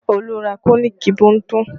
Olu ra tọ́nììkì Bunto